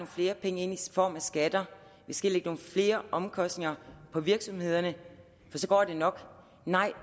flere penge ind i form af skatter at vi skal lægge nogle flere omkostninger på virksomhederne for så går det nok nej